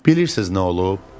Bilirsiz nə olub?